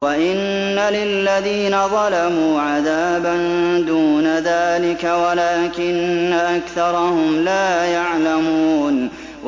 وَإِنَّ لِلَّذِينَ ظَلَمُوا عَذَابًا دُونَ ذَٰلِكَ وَلَٰكِنَّ أَكْثَرَهُمْ لَا يَعْلَمُونَ